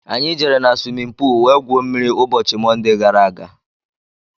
Anyị jere na swimin poolu wee gwuo mmiri ụbọchị Monde gaara aga.